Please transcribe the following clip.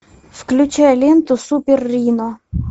включай ленту супер рино